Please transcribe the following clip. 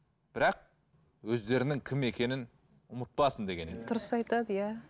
бірақ өздерінің кім екенін ұмытпасын деген еді дұрыс айтады иә